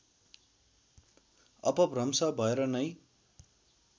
अपभ्रंश भएर नै